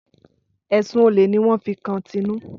Ẹ̀sun olè ní wọ́n fi kan Tinú.